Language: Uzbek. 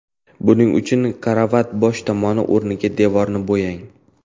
Buning uchun karavotning bosh tomoni o‘rnidagi devorni bo‘yang.